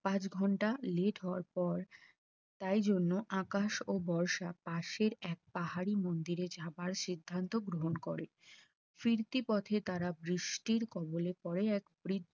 পাঁচ ঘন্টা let হওয়ার পর তাই জন্য আকাশ ও বর্ষা পাশের এক পাহাড়ির মন্দিরে যাবার সিদ্ধান্ত গ্রহণ করে, ফিরতি পথে তারা বৃষ্টির কবলে পড়ে এক বৃ